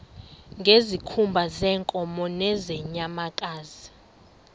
ngezikhumba zeenkomo nezeenyamakazi